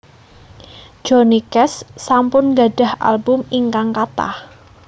Johnny Cash sampun gadhah album ingkang kathah